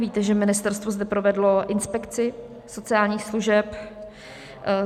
Víte, že ministerstvo zde provedlo inspekci sociálních služeb.